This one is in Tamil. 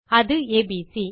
அது ஏபிசி